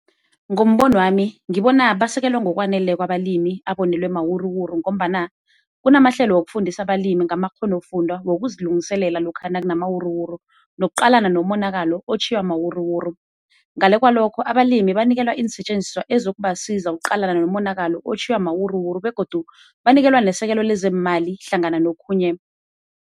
Ngombono wami ngibona basekelwa ngokwaneleko abalimi abonelwe mawuruwuru ngombana kunamahlelo wokufundisa abalimi ngamakghonofundwa wokuzilungiselela lokha nakunamawuruwuru, nokuqalana nomonakalo otjhiywa mawuruwuru. Ngale kwalokho abalimi banikelwa iinsetjenziswa ezizokubasiza ukuqalana nomonakalo otjhiyiwa mawuruwuru begodu banikelwa nesekelo lezeemali hlangana nokhunye.